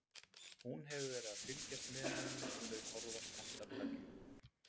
Hún hefur verið að fylgjast með honum og þau horfast andartak í augu.